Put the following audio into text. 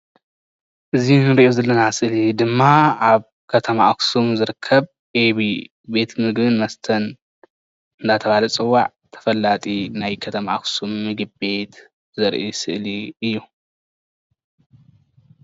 እዚ እንሪኦ ዘለና ስእሊ ድማ ኣብ ከተማ ኣክሱም ዝርከብ ኤቢ ቤት ምግብን መስተን እናተባሃለ ዝፅዋዕ ተፈላጢ ናይ ከተማ ኣክሱም ምግቢ ቤት ዘርኢ ስእሊ እዩ፡፡